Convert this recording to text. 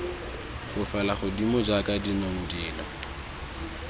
fofele godimo jaaka dinong dilo